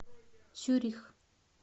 цюрих